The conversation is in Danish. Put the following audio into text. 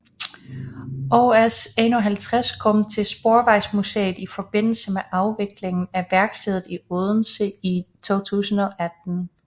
OS 51 kom til Sporvejsmuseet i forbindelse med afviklingen af værkstedet i Odense i 2018